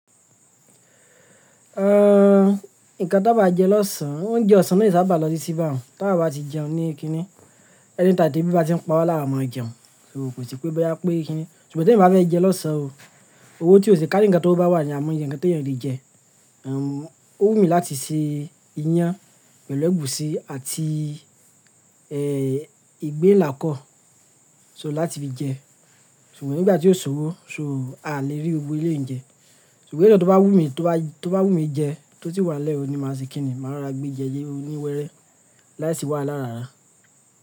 Ehn, nǹkan tó bá jẹ lọ́sàn án, oúnjẹ ọ̀sán náà yóò sábà lọ titi bà un, tawa bá ti jẹun ní Kínní, ẹni time tebí bá ti ń pawa lawaọ máa jẹun. So kò sí pé bóyá pé Kínní, ṣùgbọ́n tí èmi bá fẹ́ jẹ lọ́sàn án o, owó tí ò ṣe kárí nǹkan tó owo bá wà ni a'imọye nǹkan t'eeyàn le jẹ. Ehn, ó wù mí láti se iyán pẹ̀lú ẹ̀gúsí àti eh ìgbín Ìlà kọ, so láti fi jẹ. Ṣùgbọ́n nígbà tí ó ṣ'òwò so a lè rí gbogbo ele ń jẹ. Ṣùgbọ́n nínú eyi tó bá wù mí tó bá, tó bá wù mí jẹ tó ti wà lẹ́ẹ̀ o ni màá ṣe Kínní. Màá ra gbéjẹlé oníwẹ́rẹ́ láti wá lára ara.